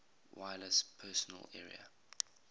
wireless personal area